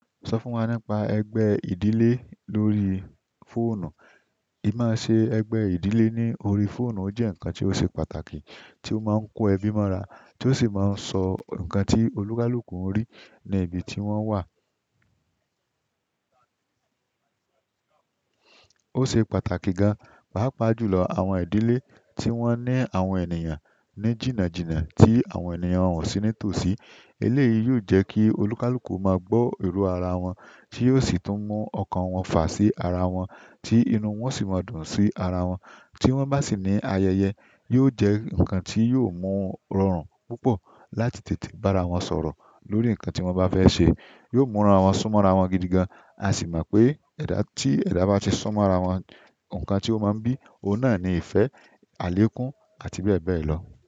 Sọ fún wa nípa ẹgbẹ́ ìdílé lórí fóònù. Ì máa ṣe ẹgbẹ́ ìdílé ní orí fóònù, ó jẹ́ ǹkan tí ó ṣe pàtàkì tí ó máa ń kó ẹbí mọ́ra tí ó sì máa ń sọ ǹkan tí olúkúlùkù ń rí ní ibi tí wọ́n wà. Ó ṣe pàtàkì gan, pàápàá jùlọ àwọn ìdílé tí wọ́n ní àwọn ènìyàn ní jìnnàjìnnà tí àwọn ènìyàn wọ̀ sí ní tòsí. Eléyìí yóò jẹ́ kí olúkúlùkù máa gbọ́ èrò ara wọn tí yóò sì tún mú ọkàn wọn fà sí ara wọn tí inú wọn sì máa dùn sí ara wọn. Tí wọ́n bá sì ní ayẹyẹ, yóò jẹ́ ǹkan tí yóò mú wọn rọrùn púpọ̀ láti tètè bá ara wọn sọ̀rọ̀ lórí ǹkan tí wọ́n bá fẹ́ ṣe. Yóò múra wọn, súnmọ́ ara wọn gidi gan, a sì mọ̀ pé ẹ̀dá tí ẹ̀dá bá ti súnmọ́ ara wọn, ǹkan tí ó máa ń bí, òun náà ni ìfẹ́, àlékún àti bẹ́ẹ̀ bẹ́ẹ̀ lọ.